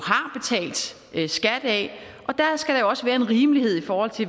har betalt skat af og der skal der jo også være en rimelighed i forhold til